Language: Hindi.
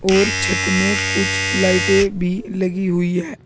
और छत में कुछ लाइटें भी लगी हुई है।